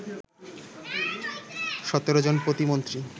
১৭ জন প্রতিমন্ত্রী